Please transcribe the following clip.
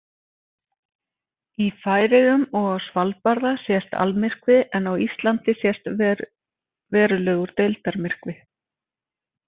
Í Færeyjum og á Svalbarða sést almyrkvi en á Íslandi sést verulegur deildarmyrkvi.